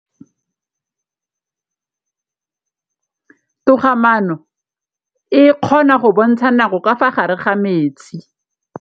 Toga-maanô e, e kgona go bontsha nakô ka fa gare ga metsi.